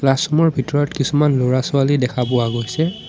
Class room ৰ ভিতৰত কিছুমান ল'ৰা-ছোৱালী দেখা পোৱা গৈছে।